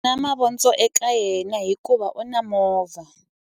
U na mavondzo eka yena hikuva u na movha.